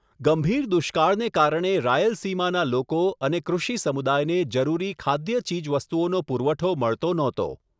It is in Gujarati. ગંભીર દુષ્કાળને કારણે રાયલસીમાના લોકો અને કૃષિ સમુદાયને જરૂરી ખાદ્ય ચીજવસ્તુઓનો પુરવઠો મળતો નહોતો.